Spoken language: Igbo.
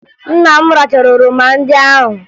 Nna m rachara oroma ndị ahụ